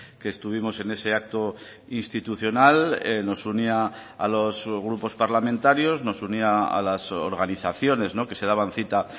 que estuvimos en ese acto institucional nos unía a los grupos parlamentarios nos unía a las organizaciones que se daban cita